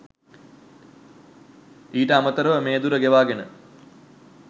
ඊට අමතරව මේ දුර ගෙවාගෙන